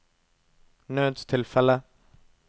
nødstilfelle